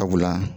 Sabula